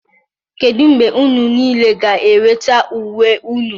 Kedu mgbe unu niile ga-enweta uwe unu?